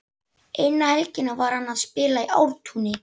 Eina helgina var hann að spila í Ártúni.